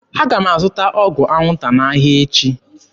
Aga m azụta ọgwụ anwụnta n'ahịa echi.